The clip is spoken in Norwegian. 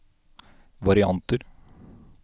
varianter